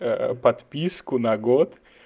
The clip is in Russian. подписку на год